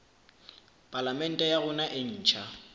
palamente ya rona e ntjha